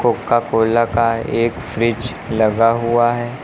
Coca Cola का एक fridge लगा हुआ है।